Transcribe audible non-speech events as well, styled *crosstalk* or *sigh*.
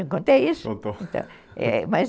Eu contei isso, então, *laughs*